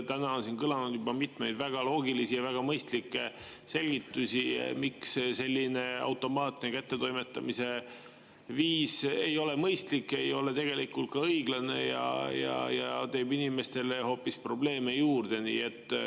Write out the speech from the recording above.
Täna on siin kõlanud juba mitmeid väga loogilisi ja väga mõistlikke selgitusi, miks selline automaatne kättetoimetamise viis ei ole mõistlik, ei ole tegelikult ka õiglane ja teeb inimestele hoopis probleeme juurde.